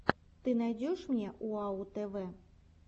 ты мне найдешь уау тв